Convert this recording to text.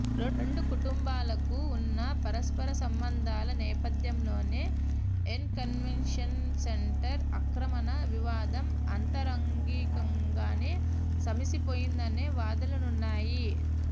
రెండు కుటుంబాలకు వున్న పరస్పర సంబంధాల నేపథ్యంలోనే ఎన్ కన్వెన్షన్ సెంటర్ ఆక్రమణ వివాదం అంతరంగికంగానే సమసిపోయిందనే వాదనలున్నాయి